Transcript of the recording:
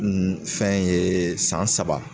fɛn ye san saba